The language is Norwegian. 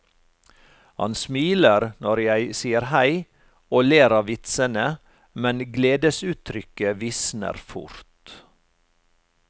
Han smiler når jeg sier hei, og ler av vitsene, men gledesuttrykket visner fort.